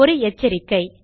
ஒரு எச்சரிக்கை